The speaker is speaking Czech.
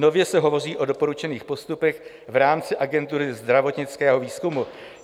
Nově se hovoří o doporučených postupech v rámci Agentury zdravotnického výzkumu.